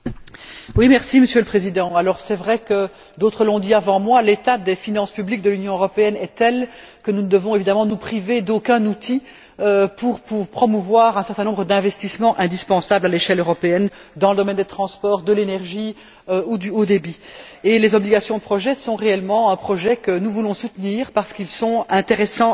Monsieur le Président, c'est vrai que d'autres l'ont dit avant moi l'état des finances publiques de l'Union européenne est tel que nous ne devons évidemment nous priver d'aucun outil pour promouvoir un certain nombre d'investissements indispensables à l'échelle européenne, dans le domaine des transports, de l'énergie ou du haut débit. Et les obligations de projet sont réellement un objectif que nous voulons soutenir parce qu'elles sont intéressantes à cet égard.